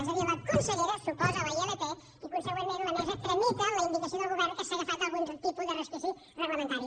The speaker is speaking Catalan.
és a dir la consellera s’oposa a la ilp i conseqüentment la mesa tramita la indicació del govern que s’ha agafat a algun tipus d’escletxa reglamentària